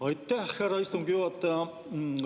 Aitäh, härra istungi juhataja!